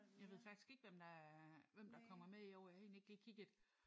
Jeg ved faktisk ikke hvem der er hvem der kommer med i år. Jeg har egentlig ikke lige kigget